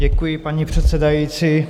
Děkuji, paní předsedající.